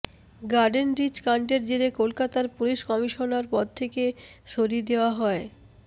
গার্ডেনরিচ কাণ্ডের জেরে কলকাতার পুলিস কমিশনার পদ থেকে সরিয়ে দেওয়া হয়